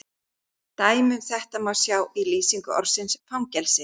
Dæmi um þetta má sjá í lýsingu orðsins fangelsi: